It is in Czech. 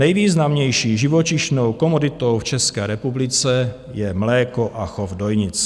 Nejvýznamnější živočišnou komoditou v České republice je mléko a chov dojnic.